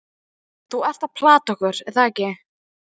Þú ert að plata okkur, er það ekki?